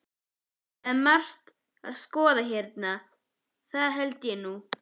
Það er margt að skoða hérna, það held ég nú.